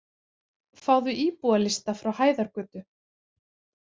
Fáðu íbúalista frá Hæðargötu.